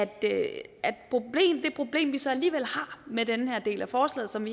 det problem vi så alligevel har med den her del af forslaget som